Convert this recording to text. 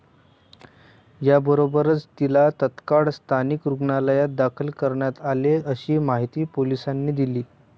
याबरोबरच तिला तात्काळ स्थानिक रुग्णालयात दाखल करण्यात आले, अशी माहिती पोलिसांनी दिली.